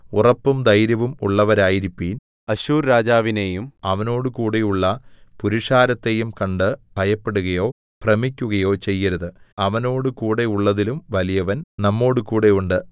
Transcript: ഉറപ്പും ധൈര്യവും ഉള്ളവരായിരിപ്പിൻ അശ്ശൂർരാജാവിനെയും അവനോട് കൂടെയുള്ള പുരുഷാരത്തെയും കണ്ട് ഭയപ്പെടുകയോ ഭ്രമിക്കുകയോ ചെയ്യരുത് അവനോടുകൂടെയുള്ളതിലും വലിയവൻ നമ്മോടുകൂടെ ഉണ്ട്